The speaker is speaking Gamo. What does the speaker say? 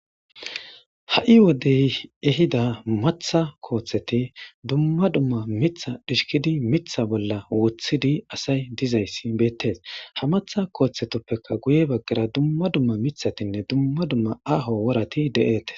Ha7i wodey ehida matha kooththeti dumma dumma mitha dhishkidi mitha bolla wothidi asay dizayssi beettees ha matha kooththetoppekka guye baggara dumma dumma mithatinne dumma dumma aaho worati de7eete